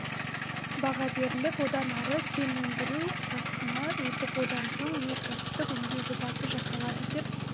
баға беріліп одан ары кен өндіру сатысына өтіп одан соң өнеркәсіптік өңдеу жобасы жасалады деп